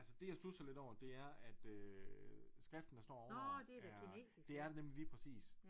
Altså det jeg studser lidt over det er at øh skriften der står over er det er det nemlig lige præcis